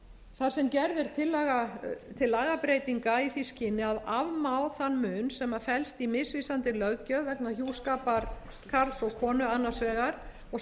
þar sem gerð er tillaga til lagabreytinga í því skyni að afmá þann mun sem felst í misvísandi löggjöf vegna hjúskapar karls og konu annars vegar og